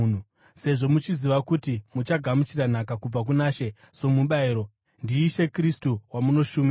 sezvo muchiziva kuti muchagamuchira nhaka kubva kuna She somubayiro. NdiIshe Kristu wamunoshumira.